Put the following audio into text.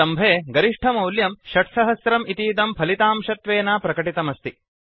स्तम्भे कोलम् मध्ये गरिष्ठमौल्यं 6000 इतीदं फलितांशत्वेन प्रकटितमस्ति